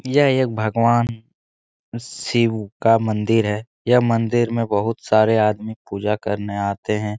यह एक भगवान शिव का मंदिर है यह मंदिर मे बहोत सारे आदमी पूजा करने आते हैं।